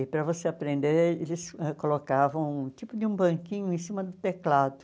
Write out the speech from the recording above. E para você aprender, eles ãh colocavam um tipo de um banquinho em cima do teclado.